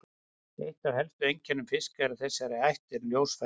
Eitt af helstu einkennum fiska af þessari ætt eru ljósfærin.